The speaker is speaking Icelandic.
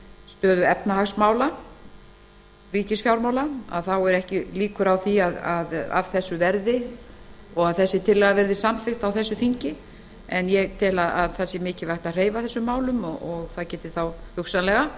stöðu efnahagsmála ríkisfjármála séu ekki líkur á að af þessu verði og þessi tillaga verði samþykkt á yfirstandandi þingi en ég tel mikilvægt að hreyfa þessum málum og það geti hugsanlega